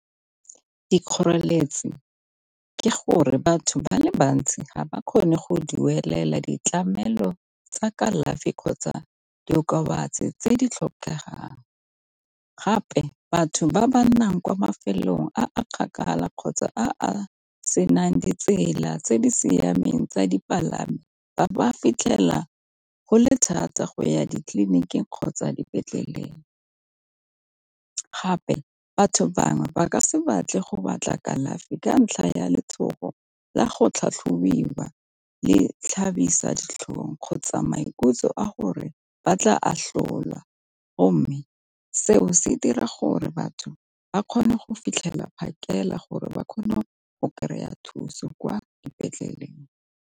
Dikgoreletsi ke gore batho ba le bantsi ga ba kgone go duelela ditlamelo tsa kalafi kgotsa diokobatsi tse di tlhokegang, gape batho ba ba nnang kwa mafelong a kgakala kgotsa a a senang ditsela tse di siameng tsa dipalangwa ba ka fitlhela go le thata go ya ditleliniking kgotsa dipetleleng. Gape batho bangwe ba ka se batle go batla kalafi ka ntlha ya letshogo la go tlhatlhobiwa le tlhabisa ditlhong kgotsa maikutlo a go gore ba tla atlholwa go mme seo se dira gore batho ba kgone go fitlhelela phakela gore ba kgone go kry-a a thuso kwa dipetleleng.